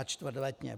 A čtvrtletně.